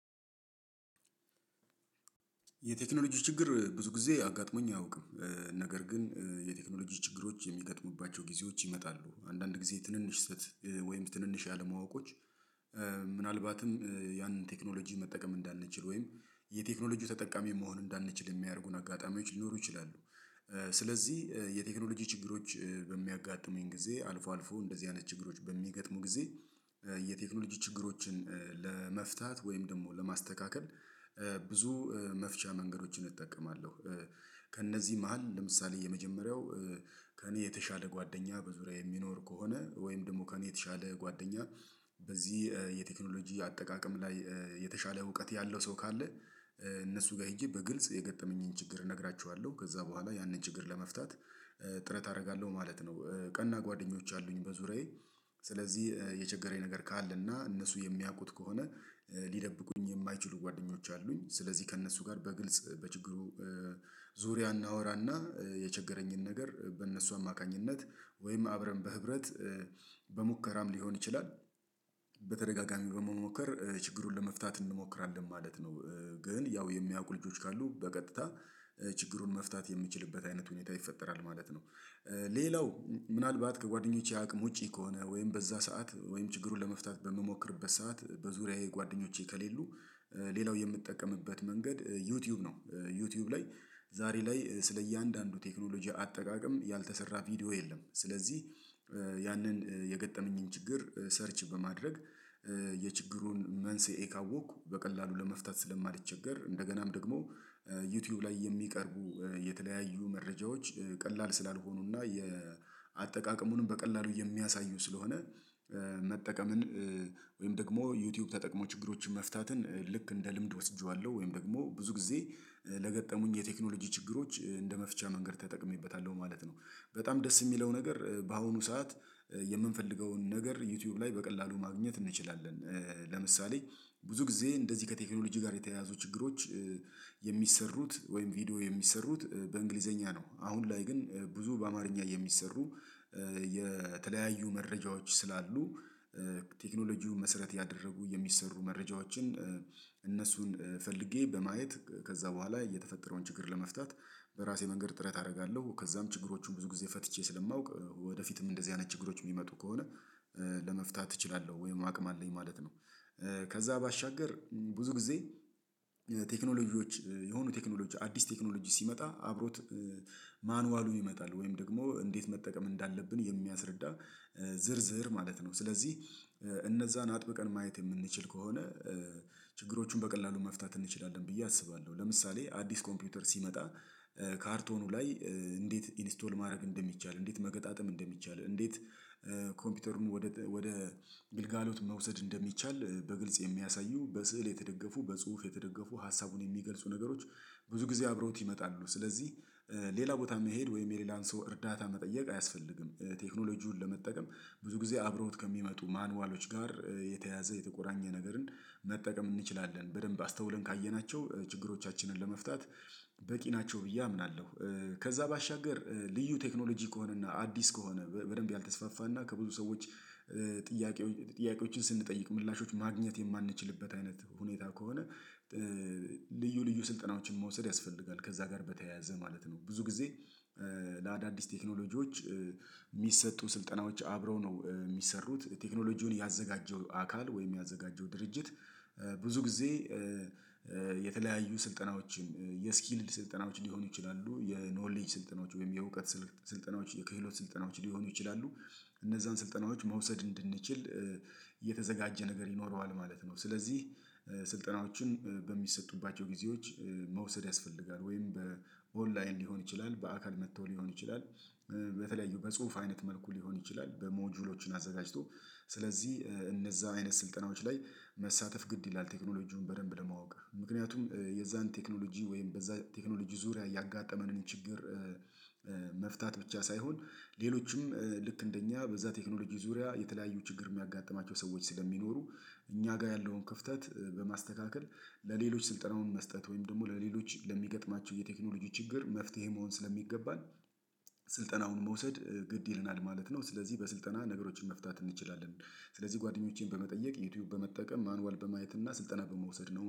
የቴክኖሎጂ ችግር ብዙ ጊዜ አጋጥሞኝ አያውቅም። ነገር ግን የቴክኖሎጂዎች ችግሮች የሚገጥሙባቸው ጊዜዎች ይመጣሉ አንዳንድ ጊዜ ትንንሽ ስህተት ወይም ትንንሽ ያለማወቆች ምናልባትም ያንን ቴክኖሎጂ መጠቀም እንዳንችል ወይም የቴክኖሎጂው ተጠቃሚ መሆን እንዳንችል የሚያደርጉን አጋጣሚዎች ሊኖሩ ይችላሉ። ስለዚህ የቴክኖሎጂ ችግሮች በሚያጋጥሙኝ ጊዜ አልፎ አልፎ እንደዚህ አይነት ችግሮች በሚገጥሙ ጊዜ የቴክኖሎጂ ችግሮችን ለመፍታት ወይም ደግሞ ለማስተካከል ብዙ መፍቻ መንገዶችን እጠቀማለሁ። ከእነዚህ መሃል ለምሳሌ የመጀመሪያው ከእኔ የተሻለ ጓደኛ በዙሪያዬ የሚኖር ከሆነ ወይም ደግሞ ከእኔ የተሻለ ጓደኛ በዚህ የቴክኖሎጂ አጠቃቀም ላይ የተሻለ እውቀት ያለው ሰው ካለ እነሱ ጋር ሄጄ በግልጽ የገጠመኝን ችግር እነግራችኋለሁ ከዛ በኋላ ያንን ችግር ለመፍታት ጥረት አደርጋለሁ ማለት ነው። ቀና ጓደኞች አሉኝ በዙሪያዬ ስለዚህ የቸገረኝ ነገር ካለና እነሱ የሚያውቁት ከሆነ ሊደብቁኝ የማይችሉ ጓደኞች አሉኝ ስለዚህ ከእነሱ ጋር በግልጽ በችግሩ ዙሪያ እናወራና የቸገረኝን ነገር በእነሱ አማካኝነት ወይም አብረን በህብረት በሙከራም ሊሆን ይችላል በተደጋጋሚ በመሞከር ችግሩን ለመፍታት እንሞክራለን ማለት ነው። ግን ያው የሚያውቁ ልጆች ካሉ በቀጥታ ችግሩን መፍታት የምችልበት አይነት ሁኔታ ይፈጠራል ማለት ነው። ሌላው ምናልባት ከጓደኞቼ አቅም ውጪ ከሆነ ወይም በዛ ሰዓት ወይም ችግሩን ለመፍታት በምሞክርበት ሰዓት በዙሪያዬ ጓደኞቼ ከሌሉ ሌላው የምትጠቀምበት መንገድ ዩቲዩብ ነው። ዩቲዩብ ላይ ዛሬ ላይ ስለእያንዳንዱ ቴክኖሎጂ አጠቃቀም ያልተሰራ ቪዲዮ የለም ስለዚህ ያንን የገጠመኝን ችግር ሰርች በማድረግ መንስኤ ካወቅኩ በቀላሉ ለመፍታት ስለማልቸገር እንደገናም ደግሞ ዩቲዩብ ላይ የሚቀርቡ የተለያዩ መረጃዎች ቀላል ስላልሆኑና የአጠቃቀሙንም በቀላሉ የሚያሳዩ ስለሆነ መጠቀምን ወይም ደግሞ ዩቲዩብ ተጠቅሞ ችግሮችን መፍታትን ልክ እንደ ልምድ ወስጄዋለሁ ወይም ደግሞ ብዙ ጊዜ ለገጠሙኝ የቴክኖሎጂ ችግሮች እንደ መፍቻ መንገድ ተጠቅሜበታለሁ ማለት ነው። በጣም ደስ የሚለው ነገር በአሁኑ ሰዓት የምንፈልገውን ነገር ዩቲዩብ ላይ በቀላሉ ማግኘት እንችላለን ለምሳሌ ብዙ ጊዜ እንደዚህ ከቴክኖሎጂ ጋር የተያያዙ ችግሮች የሚሰሩት ወይም ቪዲዮ የሚሰሩት በእንግሊዘኛ ነው አሁን ላይ ግን ብዙ በአማርኛ የሚሰሩ የተለያዩ መረጃዎች ስላሉ ቴክኖሎጂውን መሰረት ያደረጉ የሚሰሩ መረጃዎችን እነሱን ፈልጌ በማየት ከዛ በኋላ የተፈጠረውን ችግር ለመፍታት በራሴ መንገድ ጥረት አደርጋለሁ ከዛም ችግሮቹን ብዙ ጊዜ ፈትቼ ስለማውቅ ወደፊትም እንደዚህ አይነት ችግሮች የሚመጡ ከሆነ ለመፍታት እችላለሁ ወይም አቅም አለኝ ማለት ነው። ከዛ ባሻገር ብዙ ጊዜ ቴክኖሎጂዎች የሆኑ ቴክኖሎጂ አዲስ ቴክኖሎጂ ሲመጣ አብሮት ማኑዋሉ ይመጣል ወይም ደግሞ እንዴት መጠቀም እንዳለብን የሚያስረዳ ዝርዝር ማለት ነው። ስለዚህ እነዛን አጥብቀን ማየት የምንችል ከሆነ ችግሮቹን በቀላሉ መፍታት እንችላለን ብዬ አስባለሁ ለምሳሌ አዲስ ኮምፒውተር ሲመጣ ካርቶኑ ላይ እንዴት ኢንስቶል ማድረግ እንደሚቻል እንዴት መገጣጠም እንደሚቻል እንዴት ኮምፒውተሩን ወደ ወደ ግልጋሎት መውሰድ እንደሚቻል በግልጽ የሚያሳዩ በስዕል የተደገፉ በጽሁፍ የተደገፉ ሀሳቡን የሚገልጹ ነገሮች ብዙ ጊዜ አብረውት ይመጣሉ ስለዚህ ሌላ ቦታ መሄድ ወይም የሌላን ሰው እርዳታ መጠየቅ አያስፈልግም ቴክኖሎጂውን ለመጠቀም ብዙ ጊዜ አብረውት ከሚመጡ ማኑዋሎች ጋር የተያዘ የተቆራኘ ነገርን መጠቀም እንችላለን በደንብ አስተውለን ካየናቸው ችግሮቻችንን ለመፍታት በቂ ናቸው ብዬ አምናለሁ። ከዛ ባሻገር ልዩ ቴክኖሎጂ ከሆነና አዲስ ከሆነ በደንብ ያልተስፋፋና ከብዙ ሰዎች ጥያቄዎችን ስንጠይቅ ምላሾች ማግኘት የማንችልበት አይነት ሁኔታ ከሆነ ልዩ ልዩ ስልጠናዎችን መውሰድ ያስፈልጋል ከዛ ጋር በተያያዘ ማለት ነው። ብዙ ጊዜ ለአዳዲስ ቴክኖሎጂዎች የሚሰጡ ስልጠናዎች አብረው ነው የሚሰሩት ቴክኖሎጂውን ያዘጋጀው አካል ወይም ያዘጋጀው ድርጅት ብዙ ጊዜ ስልጠናዎችን የስኪልድ ስልጠናዎች ሊሆኑ ይችላሉ የኖሌጅ ስልጠናዎች ወይም የእውቀት ስልጠናዎች የክህሎት ስልጠናዎች ሊሆኑ ይችላሉ። እነዛን ስልጠናዎች መውሰድ እንድንችል የተዘጋጀ ነገር ይኖረዋል ማለት ነው። ስለዚህ ስልጠናዎችን በሚሰጡባቸው ጊዜዎች መውሰድ ያስፈልጋል ወይም በኦንላይን ሊሆን ይችላል በአካል መጥተው ሊሆን ይችላል በተለያዩ በጽሁፍ አይነት መልኩ ሊሆን ይችላል በሞጁሎችን አዘጋጅቶ ስለዚህ እነዛ አይነት ስልጠናዎች ላይ መሳተፍ ግድ ይላል። ቴክኖሎጂውን በደንብ ለማወቅ ምክንያቱም የዛን ቴክኖሎጂ ወይም በዛ ቴክኖሎጂ ዙሪያ ያጋጠመንን ችግር መፍታት ብቻ ሳይሆን ሌሎችም ልክ እንደኛ በዛ ቴክኖሎጂ ዙሪያ የተለያዩ ችግር የሚያጋጥማቸው ሰዎች ስለሚኖሩ እኛ ጋር ያለውን ክፍተት በማስተካከል ለሌሎች ስልጠናውን መስጠት ወይም ደግሞ ለሌሎች ለሚገጥማቸው የቴክኖሎጂዎች ችግር መፍትሄ መሆን ስለሚገባን ስልጠናውን መውሰድ ግድ ይለናል ማለት ነው። ስለዚህ በስልጠና ነገሮችን መፍታት እንችላለን ስለዚህ ጓደኞቼን በመጠየቅ ዩቲዩብ በመጠቀም ማኑዋል በማየት እና ስልጠና በመውሰድ ነው